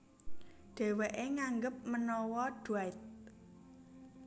Dhèwèké nganggep menawa Dwight